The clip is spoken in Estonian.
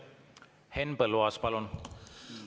Henn Põlluaas, palun!